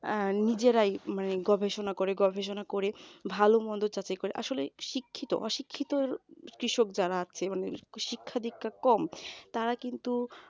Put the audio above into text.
অ্যাঁ নিজেরাই মানে নিজেরাই গবেষণা করে গবেষণা করে ভালো মন্দ যাচাই করে আসলে শিক্ষিত অশিক্ষিত কৃষক যারা আছে মানে শিক্ষা দীক্ষা কম তারা কিন্তু